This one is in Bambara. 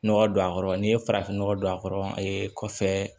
Nɔgɔ don a kɔrɔ n'i ye farafin nɔgɔ don a kɔrɔ a ye kɔfɛ